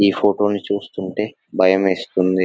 ఈ ఫోటోని చూస్తుంటే భయమేస్తుంది --